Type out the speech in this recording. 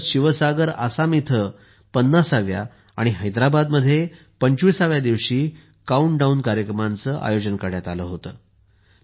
तसेच शिवसागर आसाम येथे 50 व्या आणि हैदराबादमध्ये 25 व्या दिवशी काउंटडाउन कार्यक्रमांचे आयोजन करण्यात आले होते